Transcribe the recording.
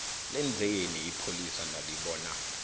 lenzeni ipholisa nalibona